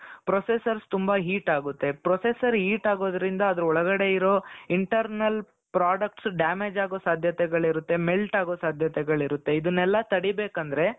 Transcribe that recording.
processor ತುಂಬಾ heat ಆಗುತ್ತೆ processor heat ಆಗೋದ್ರಿಂದ ಅದರ ಒಳಗಡೆ ಇರೋ internal products damage ಆಗೋ ಸಾಧ್ಯತೆಗಳು ಇರುತ್ತೆ melt ಆಗೋ ಸಾಧ್ಯತೆಗಳಿರುತ್ತೆ ಇದನೆಲ್ಲಾ ತಡಿ ಬೇಕಂದ್ರೆ